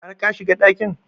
Har ka shiga ɗakin?